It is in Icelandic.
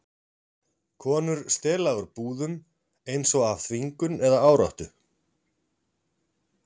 Konur stela úr búðum, eins og af þvingun eða áráttu.